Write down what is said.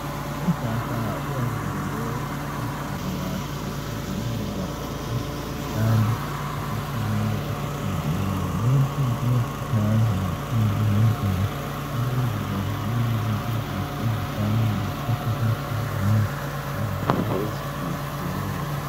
ujaha uyazilolonga umzimba wakhe ezelula ukuze ehlale esesimweni esiqondileyo lokhu kuyakhuthazwa kakhulu ebantwini ukuze bavikele izifo ezifana lesifo senhliziyo lezinye ezitshiyetshiyeneyo